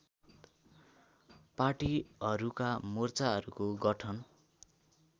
पार्टीहरूका मोर्चाहरूको गठन